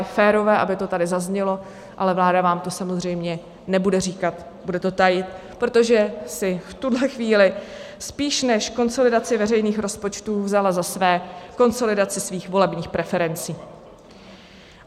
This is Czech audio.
Je férové, aby to tady zaznělo, ale vláda vám to samozřejmě nebude říkat, bude to tajit, protože si v tuhle chvíli spíš než konsolidaci veřejných rozpočtů vzala za své konsolidaci svých volebních preferencí.